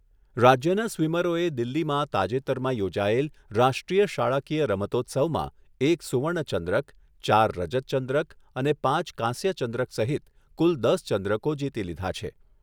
રાજ્યના સ્વીમરોએ દિલ્હીમાં તાજેતરમાં યોજાયેલ રાષ્ટ્રીય શાળાકીય રમતોત્સવમાં એક સુવર્ણચંદ્રક, ચાર રજતચંદ્રક અને પાંચ કાંસ્યચંદ્રક સહિત કુલ દસ ચંદ્રકો જીતી લીધા છે.